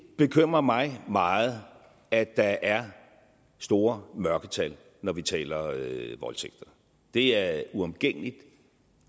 bekymrer mig meget at der er store mørketal når vi taler voldtægter det er uomgængeligt